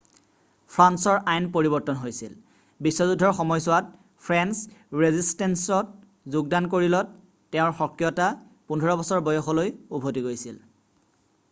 ফ্ৰান্সৰ আইন পৰিবৰ্তন হৈছিল ii বিশ্ব যুদ্ধৰ সময়ছোৱাত ফ্ৰেন্স ৰেজিছষ্টেন্সত যোগদান কৰিলত তেওঁৰ সক্ৰিয়তা 15 বছৰ বয়সলৈ উভতি গৈছিল